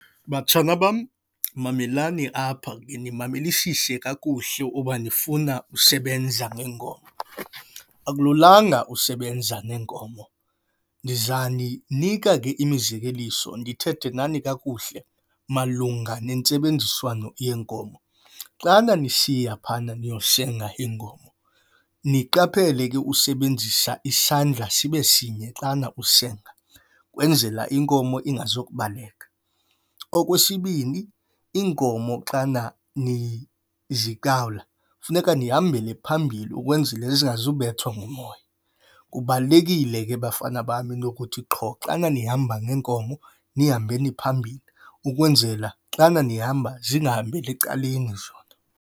Batshana bam, mamelani apha nimamelisise kakuhle uba nifuna usebenza ngeenkomo. Akululanga usebenza neenkomo. Ndizaninika ke mizekeliso ndithethe nani kakuhle malunga nentsebenziswano yeenkomo. Xana nisiya phayana niyosenga iinkomo, niqaphele ke usebenzisa isandla sibe sinye xana usenga ukwenzela inkomo ingazukubaleka. Okwesibini, iinkomo xana nizikawula kufuneka nihambele phambili ukwenzila zingazubethwa ngumoya. Kubalulekile ke, bafana bam, into ukuthi qho xana nihamba neenkomo nihambeni phambili ukwenzela xana nihamba zingahambeli ecaleni zona.